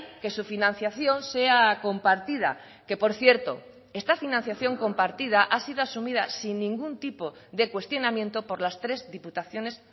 que su financiación sea compartida que por cierto esta financiación compartida ha sido asumida sin ningún tipo de cuestionamiento por las tres diputaciones